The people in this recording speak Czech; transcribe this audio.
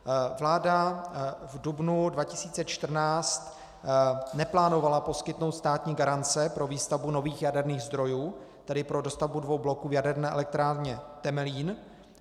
Vláda v dubnu 2014 neplánovala poskytnout státní garance pro výstavbu nových jaderných zdrojů, tedy pro dostavbu dvou bloků v Jaderné elektrárně Temelín.